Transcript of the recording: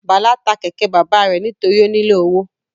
Bala ta kẹkẹ baba rẹ nitori o nilo owo